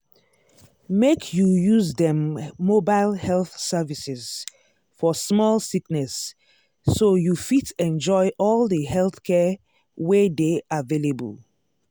make you use dem mobile health services for small sickness so you fit enjoy all the healthcare wey dey available.